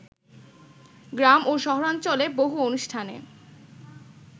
গ্রাম ও শহরাঞ্চলে বহু অনুষ্ঠানে